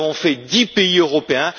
Nous avons visité dix pays européens.